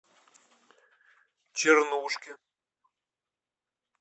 чернушке